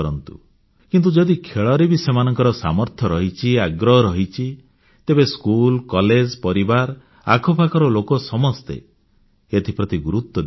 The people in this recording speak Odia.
କିନ୍ତୁ ଯଦି ଖେଳରେ ବି ସେମାନଙ୍କ ସାମର୍ଥ୍ୟ ରହିଛି ଆଗ୍ରହ ରହିଛି ତେବେ ସ୍କୁଲ କଲେଜ ପରିବାର ଆଖପାଖର ଲୋକ ସମସ୍ତେ ଏଥିପ୍ରତି ଗୁରୁତ୍ୱ ଦେବା ଉଚିତ